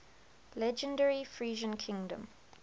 legendary frisian freedom